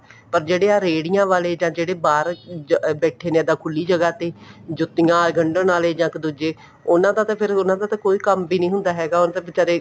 ਪਰ ਜਿਹੜੇ ਆ ਰੇੜੀਆਂ ਵਾਲੇ ਜਾਂ ਇਹਦੇ ਬਾਹਰ ਬੈਠੇ ਨੇ ਇੱਦਾਂ ਖੁੱਲੀ ਜਗ੍ਹਾ ਤੇ ਜੁੱਤੀਆਂ ਗੰਡਣ ਆਲੇ ਜਾਂ ਦੂਜੇ ਉਹਨਾ ਦਾ ਤਾਂ ਉਹਨਾ ਦਾ ਤਾਂ ਫ਼ੇਰ ਕੋਈ ਕੰਮ ਵੀ ਨੀ ਹੁੰਦਾ ਹੈਗਾ ਉਹ ਤਾਂ ਵਿਚਾਰੇ